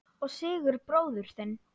Og Sigurð bróður þinn!